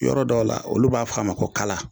Yɔrɔ dɔw la olu b'a fɔ a ma ko kala